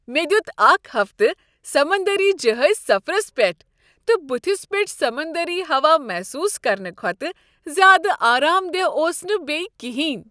مےٚ دِیوٗت اکھ ہفتہٕ سمندری جہٲزی سفرس پیٹھ، تہٕ بتھس پیٹھ سمندری ہوا محسوس کرنہٕ کھوتہٕ زیادٕ آرام دہ اوس نہٕ بیٚیہ کہیٖنہٕ۔